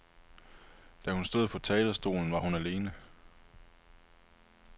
Da hun stod på talerstolen, var hun alene.